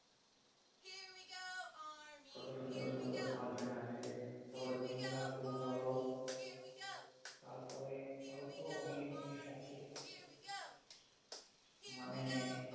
কতো সুন্দর সুন্দর function আছে তারপরে ক্যামেরা খুব ভাল তারপরে আরও তো অনেক জিনিস আছে মানে